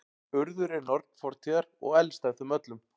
urður er norn fortíðar og elst af þeim öllum